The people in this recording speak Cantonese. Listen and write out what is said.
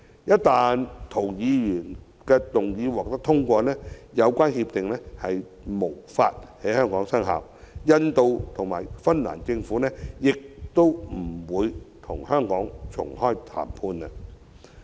一旦涂議員的擬議決議案獲得通過，相關協定將無法在香港實施，印度和芬蘭政府亦不會與香港重啟談判。